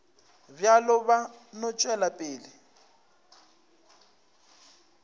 bjalo ba no tšwela pele